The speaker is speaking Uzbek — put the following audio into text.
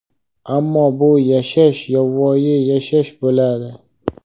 ammo bu yashash yovvoyi yashash bo‘ladi.